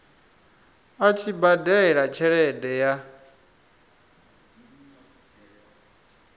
a tshi badela tshelede ya